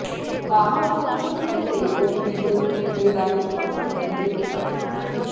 পাহাড় সমস্যা মেটাতে কমিটি গড়ে কেন্দ্রের দ্বারস্থ হবেন বিজেপি সাংসদ